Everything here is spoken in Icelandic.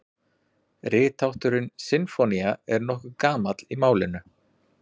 Rithátturinn sinfónía er nokkuð gamall í málinu.